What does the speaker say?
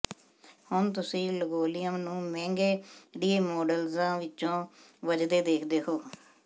ਹੁਣ ਤੁਸੀਂ ਲੰਗੋਲੀਅਮ ਨੂੰ ਮਹਿੰਗੇ ਰੀਮੌਡਲਜ਼ਾਂ ਵਿਚ ਵੱਜਦੇ ਦੇਖਦੇ ਹੋ